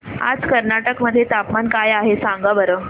आज कर्नाटक मध्ये तापमान काय आहे सांगा बरं